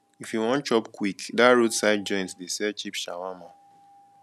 if you wan chop kwik dat roadside joint dey sell cheap shawarma